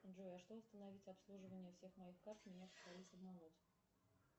джой а что остановить обслуживание всех моих карт